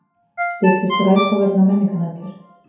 Styrkir Strætó vegna menningarnætur